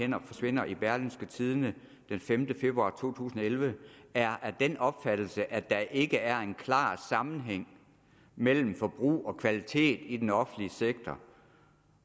hænder forsvinder i berlingske tidende den femte februar to tusind og elleve er af den opfattelse at der ikke er klar sammenhæng mellem forbrug og kvalitet i den offentlige sektor